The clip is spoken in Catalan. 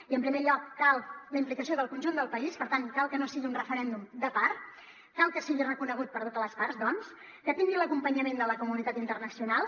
i en primer lloc cal la implicació del conjunt del país per tant cal que no sigui un referèndum de part cal que sigui reconegut per totes les parts doncs que tingui l’acompanyament de la comunitat internacional